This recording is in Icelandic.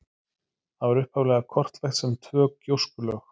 Það var upphaflega kortlagt sem tvö gjóskulög.